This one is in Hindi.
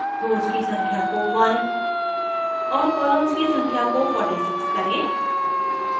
rows की संख्या को 1 और columns की संख्या को 46 करें